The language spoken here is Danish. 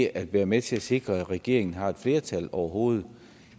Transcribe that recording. at være med til at sikre at regeringen har et flertal overhovedet